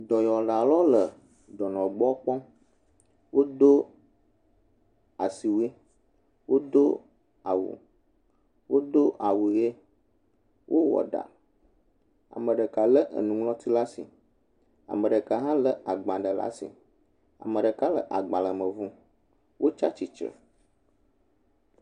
Dɔyɔlawo le dɔnɔwo gbɔ kpɔm wodo asiwui wodo awu ɣie wowɔ ɖa ame ɖeka nuŋlɔti ɖe asi ame ɖeka ha le agbalẽ ɖe asi ame ɖeka le agbalẽ me ʋum wotitre